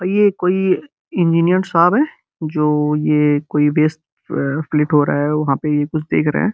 ये कोई इंजीनियन् साब है जो ये कोई बेस ए-फ्लीट हो रहा है वहाँ पे ये कुछ देख रहे हैं।